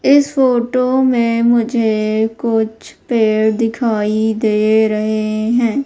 इस फोटो में मुझे कुछ पेड़ दिखाई दे रहे है।